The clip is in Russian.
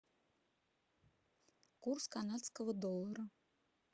курс канадского доллара